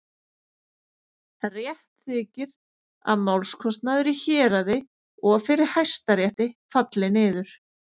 Rétt þykir, að málskostnaður í héraði og fyrir Hæstarétti falli niður.